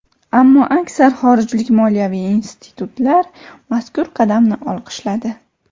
Ammo aksar xorijlik moliyaviy institutlar mazkur qadamni olqishladi.